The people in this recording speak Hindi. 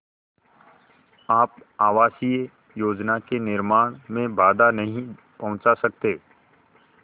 आप आवासीय योजना के निर्माण में बाधा नहीं पहुँचा सकते